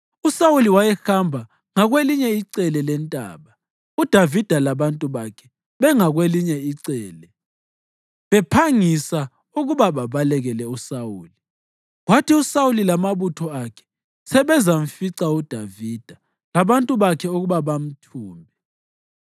USawuli wayehamba ngakwelinye icele lentaba, uDavida labantu bakhe bengakwelinye icele bephangisa ukuba babalekele uSawuli. Kwathi uSawuli lamabutho akhe sebezamfica uDavida labantu bakhe ukuba babathumbe,